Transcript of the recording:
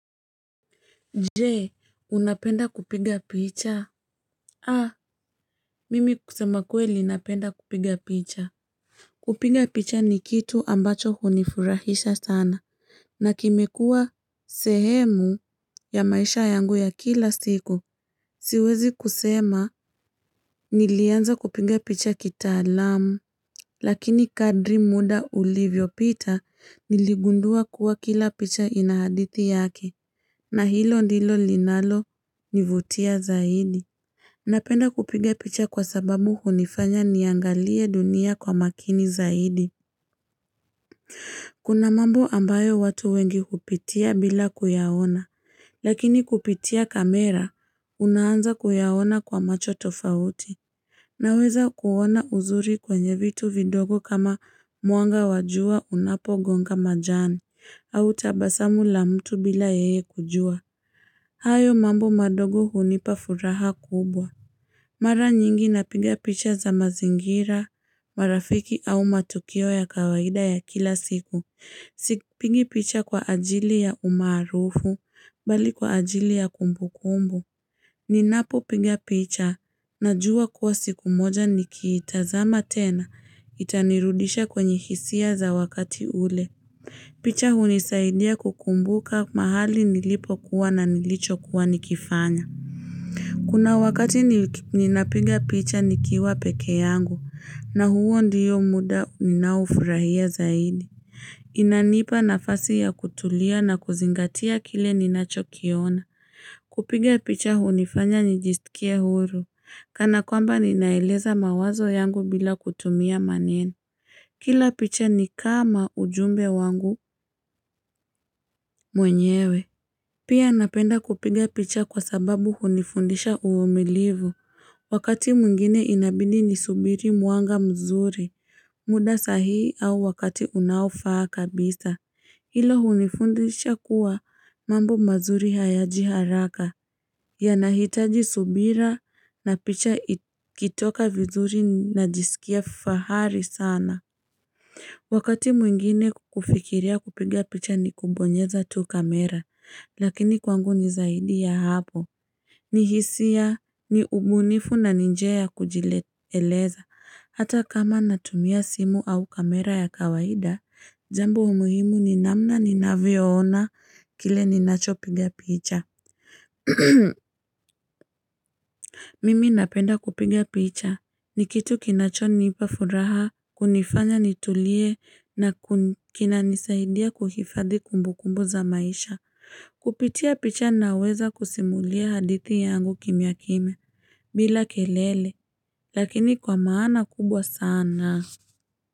Jee, unapenda kupiga picha? Ha, mimi kusema kweli napenda kupiga picha. Kupiga picha ni kitu ambacho hunifurahisha sana. Na kimekua sehemu ya maisha yangu ya kila siku. Siwezi kusema nilianza kupiga picha kitaalamu. Lakini kadri muda ulivyopita niligundua kuwa kila picha inahadithi yake. Na hilo ndilo linalo nivutia zaidi. Napenda kupiga picha kwa sababu hunifanya niangalie dunia kwa makini zaidi. Kuna mambo ambayo watu wengi kupitia bila kuyaona. Lakini kupitia kamera, unaanza kuyaona kwa macho tofauti. Naweza kuona uzuri kwenye vitu vidogo kama muanga wajua unapogonga majani. Au tabasamu la mtu bila yeye kujua. Hayo mambo madogo hunipa furaha kubwa. Mara nyingi napiga picha za mazingira, marafiki au matukio ya kawaida ya kila siku. Sipigi picha kwa ajili ya umarufu, bali kwa ajili ya kumbu kumbu. Ninapo piga picha, najua kuwa siku moja ni kiitazama tena, itanirudisha kwenye hisia za wakati ule. Picha hunisaidia kukumbuka mahali nilipo kuwa na nilicho kuwa nikifanya. Kuna wakati ninapiga picha nikiwa peke yangu na huo ndiyo muda ninaufurahia zaidi. Inanipa nafasi ya kutulia na kuzingatia kile ninachokiona. Kupiga picha hunifanya nijistikie huru. Kana kwamba ninaeleza mawazo yangu bila kutumia maneno. Kila picha ni kama ujumbe wangu mwenyewe. Pia napenda kupiga picha kwa sababu hunifundisha uvumilivu. Wakati muingine inabidi nisubiri muanga mzuri muda sahi au wakati unaofaa kabisa. Hilo hunifundisha kuwa mambo mazuri hayaji haraka. Yanahitaji subira na picha ikitoka vizuri najisikia fahari sana. Wakati mwingine kufikiria kupiga picha ni kubonyeza tuu kamera, lakini kwangu nizaidi ya hapo. Ni hisia ni ubunifu nani njia ya kujileleza. Hata kama natumia simu au kamera ya kawaida, jambo muhimu ni namna ni naviona kile ninacho piga picha. Mimi napenda kupiga picha, ni kitu kinachonipa furaha, kunifanya nitulie na kinanisaidia kuhifadhi kumbu kumbu za maisha Kupitia picha naweza kusimulia hadithi yangu kimia kimia, bila kelele, lakini kwa maana kubwa sana.